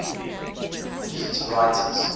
beat writers